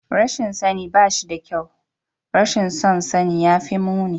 Rashin sani ba shi da kyau, rashin son sani ya fi muni